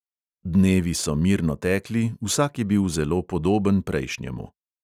Dnevi so mirno tekli, vsak je bil zelo podoben prejšnjemu.